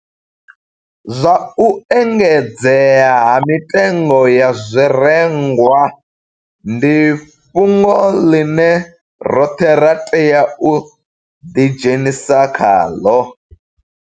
Zwa u engedzea ha mitengo ya zwirengwa ndi fhungo ḽine roṱhe ra tea u ḓidzhenisa khaḽo